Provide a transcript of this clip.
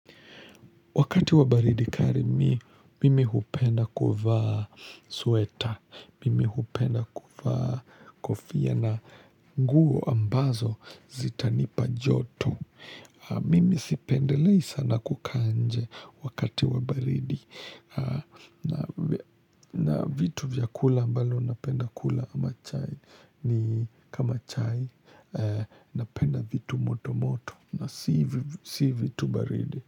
Wakati wabaridi kali mii mimi hupenda kuvaa sweta, mimi hupenda kuvaa kofia na nguo ambazo zitanipa joto. Mimi sipendelei sana kukaa nje wakati wabaridi na vitu vyakula ambalo napenda kula ama chai ni kama chai napenda vitu moto moto na si vitu baridi.